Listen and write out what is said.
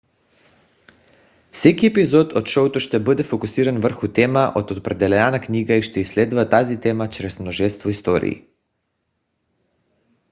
всеки епизод от шоуто ще бъде фокусиран върху тема от определена книга и ще изследва тази тема чрез множество истории